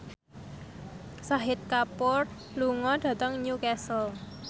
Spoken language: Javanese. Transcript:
Shahid Kapoor lunga dhateng Newcastle